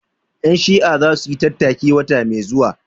Ƴan Shi'a za su yi tattaki wata mai zuwa